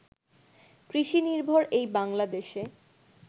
কৃষিনির্ভর এই বাংলাদেশে